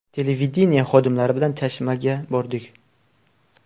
Televideniye xodimlari bilan Chashmaga bordik.